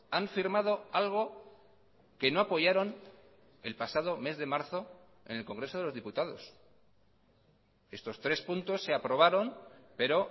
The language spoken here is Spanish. han firmado algo que no apoyaron el pasado mes de marzo en el congreso de los diputados estos tres puntos se aprobaron pero